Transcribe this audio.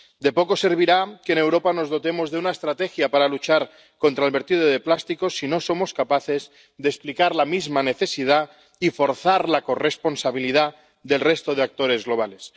De poco servirá que en Europa nos dotemos de una estrategia para luchar contra el vertido de plástico si no somos capaces de explicar su necesidad y forzar la corresponsabilidad del resto de actores globales.